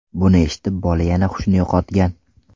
Buni eshitib, bola yana hushini yo‘qotgan.